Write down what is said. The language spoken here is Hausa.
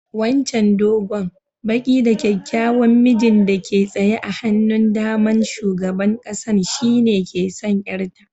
Wancan dogon, baki da kyakkyawan mijin da ke tsaye a hannun da'man sugaban kasan shine ke son auren yar ta.